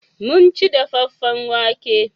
Mun ci dafaffen wake.